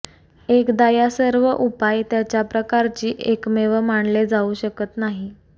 एकदा या सर्व उपाय त्याच्या प्रकारची एकमेव मानले जाऊ शकत नाही